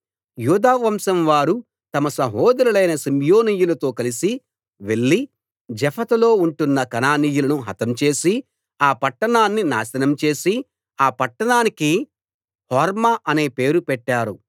యూదావంశం వారు తమ సహోదరులైన షిమ్యోనీయులతో కలిసి వెళ్లి జెఫతులో ఉంటున్న కనానీయులను హతం చేసి ఆ పట్టణాన్ని నాశనం చేసి ఆ పట్టణానికి హోర్మా అనే పేరు పెట్టారు